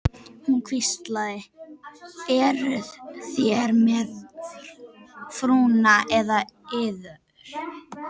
Hún hvíslaði: Eruð þér með frúna með yður?